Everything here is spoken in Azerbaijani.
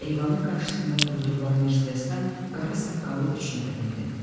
Eyvanın qarşısında durdurulan Mercedesdən qara saqqallı üç nəfər endi.